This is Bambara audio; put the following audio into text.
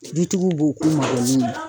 Dutigiw b'o ko magɛnin na.